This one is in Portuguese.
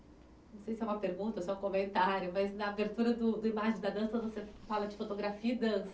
Não sei se é uma pergunta ou se é um comentário, mas, na abertura do, do imagem da dança, você fala de fotografia e dança.